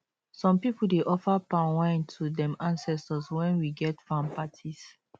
some people dey offer palm wine to dem ancetors wen we get farm parties